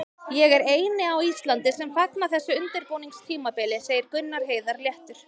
Ég er eini á Íslandi sem fagna þessu undirbúningstímabili, segir Gunnar Heiðar léttur.